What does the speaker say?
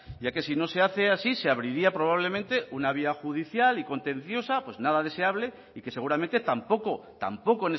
ya que si no se hace así se abriría probablemente una vía judicial y contenciosa pues nada deseable y que seguramente tampoco tampoco